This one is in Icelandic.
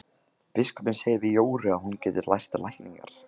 Biskupinn segir við Jóru að hún geti lært lækningar.